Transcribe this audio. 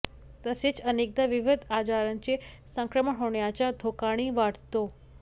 तसेच अनेकदा विविध आजारांचे संक्रमण होण्याचा धोकाही वाढतो